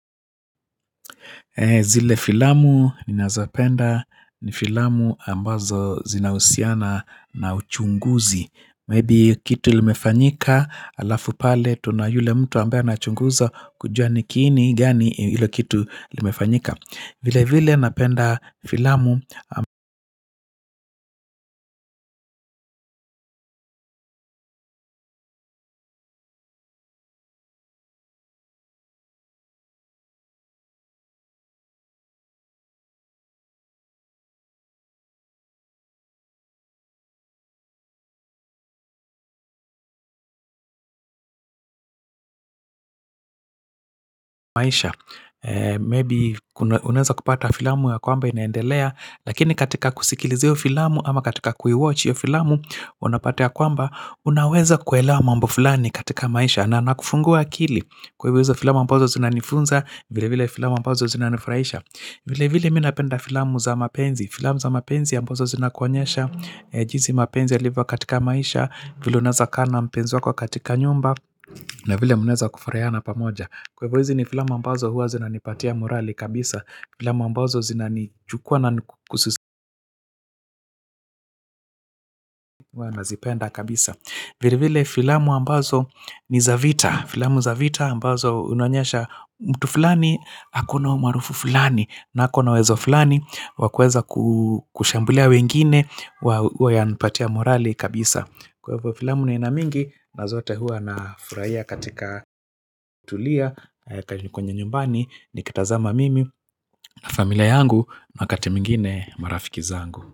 Zile filamu ni nazopenda ni filamu ambazo zinahusiana na uchunguzi. Maybe kitu limefanyika alafu pale tunayule mtu ambaye ana chunguza kujua nikiini gani ila kitu limefanyika. Vile vile napenda filamu maisha. Maybe unaeza kupata filamu ya kwamba inaendelea. Lakini katika kusikiliza hio filamu ama katika kuiwatch hiyo filamu, unapata ya kwamba, unaweza kuelewa mambo fulani katika maisha. Na nakufungua akili, kwa ivo izo filamu ambazo zina nifunza, vile vile filamu ambazo zina nifuraisha. Vile vile minapenda filamu za mapenzi, filamu za mapenzi ambazo zina kuonyesha, jisi mapenzi yaliva katika maisha, vile unaeza kaa na mpenzi wako katika nyumba, na vile munaeza kufuraiana pamoja. Kwa ivo hizi ni filamu ambazo huwa zina nipatia morali kabisa. Filamu ambazo zina nijukua na morali kabisa. Vile vile filamu ambazo ni zavita. Filamu zavita ambazo unaonyesha mtu fulani ako na umaarufu fulani na ako na uwezo fulani wakueza kushambulia wengine. Huwa ya nipatia morali kabisa. Kwaivo filamu ni aina mingi. Nazote huwa na furaia katika tulia kanyu kwenye nyumbani nikita zama mimi na familia yangu wakati mwingine marafiki zangu.